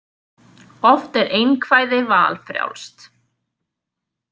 Oft er einkvæði valfrjálst.